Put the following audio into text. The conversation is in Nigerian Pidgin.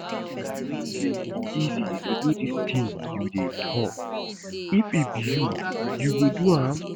You think say e easy to do dis thing you dey talk? If e be you, you go do am?